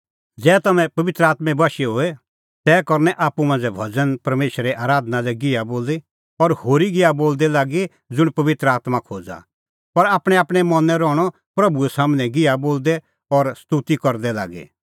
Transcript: ज़ै तम्हैं पबित्र आत्में बशै होए तै करनअ आप्पू मांझ़ै भज़न परमेशरे आराधना लै गिहा बोली और होरी गिहा बोलदै लागी ज़ुंण पबित्र आत्मां खोज़ा और आपणैंआपणैं मनैं रहणअ प्रभू सम्हनै गिहा बोलदै और स्तोती करदै लागी